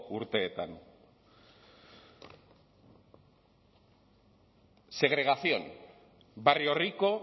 urteetan segregación barrio rico